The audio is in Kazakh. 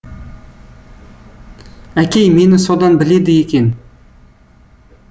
әкей мені содан біледі екен